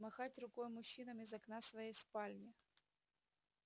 махать рукой мужчинам из окна своей спальни